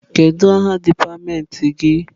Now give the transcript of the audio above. Kedu aha dipatịmentị gị?